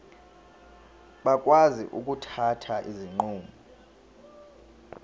bakwazi ukuthatha izinqumo